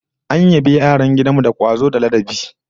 An yabi yaran gidan mu da kwazo da ladabi